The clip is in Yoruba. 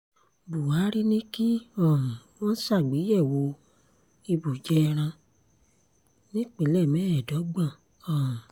buhari ní kí um wọ́n ṣàgbéyẹ̀wò ibùjẹ ẹran nípìnlẹ̀ mẹ́ẹ̀ẹ́dọ́gbọ̀n um